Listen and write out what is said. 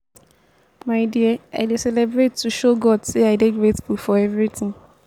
my dear i dey celebrate to show god say i dey grateful for everything